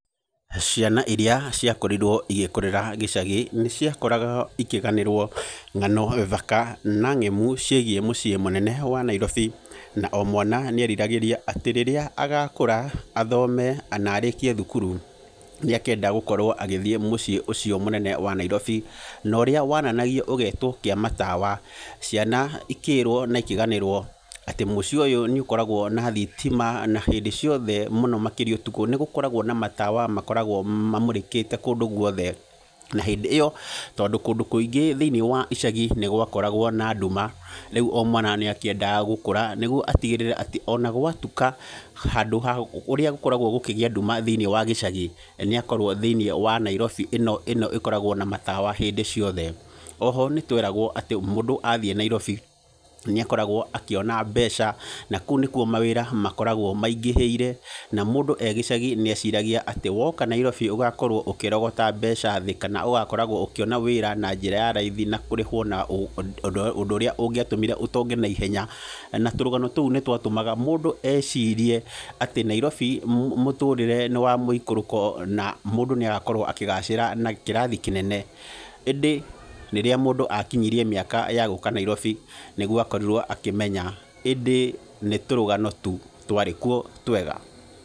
Ciana irĩa ciakorirwo igĩkũrĩra gĩcagi, nĩ ciakoraga ikĩganĩrwo ng'ano thaka na ng'emu ciĩgiĩ mũciĩ mũnene wa Nairobi, na o mwana nĩ eriragĩria atĩ rĩrĩa agakũra, athome na arĩkie thukuru, nĩ akenda gũkorwo agĩthiĩ mũciĩ ũcio mũnene wa Nairobi. No ũrĩa wananagio ũgeetwo kĩamatawa, ciana ikĩĩrwo na ikĩganĩrwo, atĩ mũciĩ ũyũ nĩ ũkoragwo na thitima, na hĩndĩ ciothe mũno makĩria ũtukũ, nĩ gũkoragwo na matawa makoragwo mamũrĩkĩte kũndũ guothe. Na hĩndĩ ĩyo, tondũ kũndũ kũingĩ thĩiniĩ wa icagi nĩ gwakoragwo na nduma, rĩu o mwana nĩ akĩendaga gũkũra, nĩguo atigĩrĩre atĩ, ona gwatuka, handũ ha ũrĩa gũkoragwo gũkĩgĩa nduma thĩiniĩ wa gĩcagi, nĩ akorwo thĩiniĩ wa Nairobi ĩno ĩno ĩkoragwo na matawa hĩndĩ ciothe. Oho nĩ tweragwo atĩ, mũndũ athiĩ Nairobi, nĩ akoragwo akĩona mbeca, na kũu nĩkuo mawĩra makoragwo maingĩhĩire, na mũndũ ee gĩcagi nĩ eciragia atĩ woka Nairobi, ũgakorwo ũkĩrogota mbeca thĩ kana ũgakoragwo ũkĩona wĩra na njĩra ya raithi, na kũrĩhwo na ũndũ ũrĩa ũngĩatũmire ũtonge naihenya. Na tũrũgano tũu nĩ twatũmaga mũndũ ecirie, atĩ Nairobi mũtũrĩre nĩ wa mũikũrũko, na mũndũ nĩ agakorwo akĩgacĩra na kĩrathi kĩnene. ĩndĩ rĩrĩa mũndũ akinyirie mĩaka ya gũũka Nairobi, nĩguo akorirwo akĩmenya ĩndĩ nĩ tũrũgano tu twarĩ kuo twega.